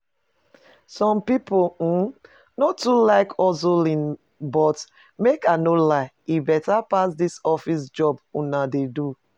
Some people um no too like hustling but make I no lie, e better pass dis office job una dey do